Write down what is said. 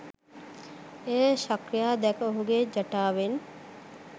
එය ශක්‍රයා දැක ඔහුගේ ජටාවෙන්